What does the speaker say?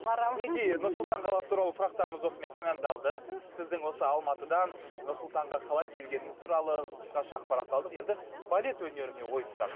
мінекей нұр сұлтан қаласы туралы сұрақтарымыз осымен тәмамдалды сіздің осы алматыдан нұр сұлтанға қалай келгеніңіз туралы қысқаша ақпарат алдық енді балет өнеріне ойыссақ